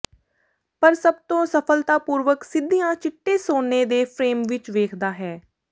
ਪਰ ਸਭ ਤੋਂ ਸਫਲਤਾਪੂਰਵਕ ਸਿੱਧੀਆਂ ਚਿੱਟੇ ਸੋਨੇ ਦੇ ਫਰੇਮ ਵਿੱਚ ਵੇਖਦਾ ਹੈ